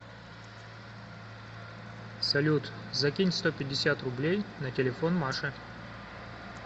салют закинь сто пятьдесят рублей на телефон маше